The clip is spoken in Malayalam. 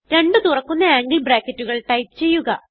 രണ്ട് തുറക്കുന്ന ആംഗിൾ ബ്രാക്കറ്റുകൾ ടൈപ്പ് ചെയ്യുക